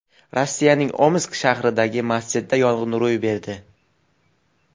Rossiyaning Omsk shahridagi masjidda yong‘in ro‘y berdi.